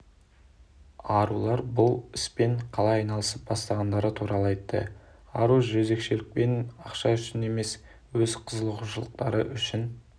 арулар бұл іспен қалай айналысып бастағандары туралы айтты ару жөзекшелікпен ақша үшін емес өз қызығушылықтары үшін